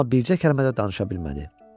Amma bircə kəlmə də danışa bilmədi.